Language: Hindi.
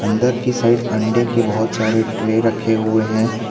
अंदर की साइड अंडे के बहुत सारे ट्रे रखे हुए हैं।